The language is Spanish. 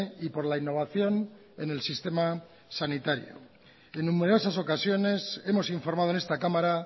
y por la innovación en el sistema sanitario en numerosas ocasiones hemos informado en esta cámara